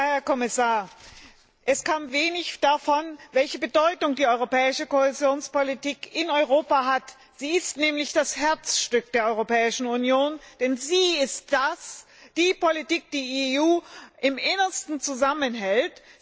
Herr Kommissar, es kam wenig darüber, welche Bedeutung die europäische Kohäsionspolitik in Europa hat. Sie ist nämlich das Herzstück der Europäischen Union, denn sie ist die Politik, die die EU im Innersten zusammenhält.